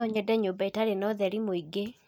no nyende nyũmba ĩtari na utheri muingi